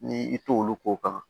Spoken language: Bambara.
Ni i t'olu ko kan